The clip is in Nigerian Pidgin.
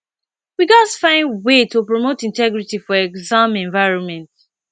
we gats find ways to promote integrity for exam environment